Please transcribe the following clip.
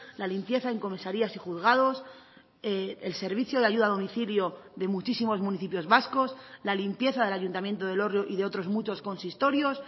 la limpieza en comisarías y juzgados el servicio de ayuda a domicilio de muchísimos municipios vascos la limpieza del ayuntamiento de elorrio y de otros muchos consistorios